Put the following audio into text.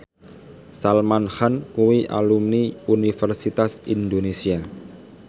Salman Khan kuwi alumni Universitas Indonesia